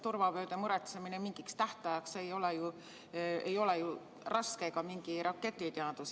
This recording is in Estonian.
Turvavööde muretsemine mingiks tähtajaks ei ole ju raske, see ei ole mingi raketiteadus.